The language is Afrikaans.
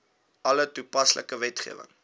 alle toepaslike wetgewing